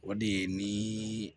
O de ye ni